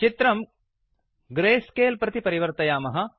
चित्रं ग्रेस्केल प्रति परिवर्तयामः